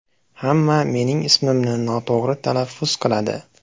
Hamma mening ismimni noto‘g‘ri talaffuz qiladi.